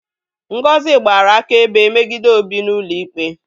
Ngozi gbara akaebe megide Obi n'ụlọikpe